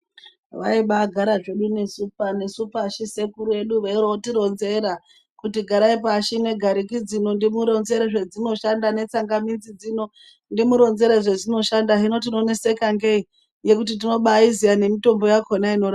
Vaibai gara zvedu nesu pashi sekuru edu veiri voti ronzera kuti garai pashi ne gariki dzino ndimu ronzere zve dzino shanda ne tsangamidzi dzino ndimu ronzere zvazvino shanda hino tino neseka ngei ngekuti tinobai iziya ne mitombo yakona inorapa.